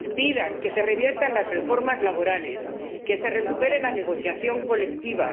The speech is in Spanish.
Pidan que se reviertan las reformas laborales que se recupere la negociación colectiva